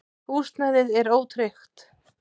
Húsnæðið er ótryggt.